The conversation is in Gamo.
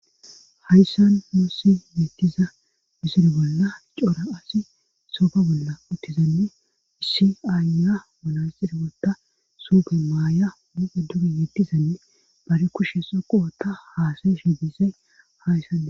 hayssan nussi miittiza misiri bolla cora asi soofa bolla uttizanne issi aanya munay xiribotta supe maaya muxe duge yeetdizanne bari kushe so qowota haasayeshi bisay hayssane